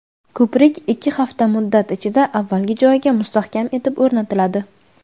ko‘prik ikki hafta muddat ichida avvalgi joyiga mustahkam etib o‘rnatiladi.